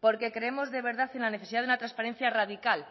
porque creemos de verdad en la necesidad de una transparencia radical